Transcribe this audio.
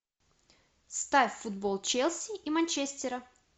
ставь футбол челси и манчестера